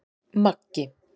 Maggi